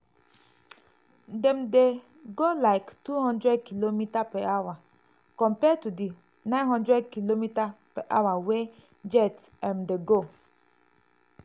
dem dey go like 200km/h compare to di 900km/h wey jet um dey go". um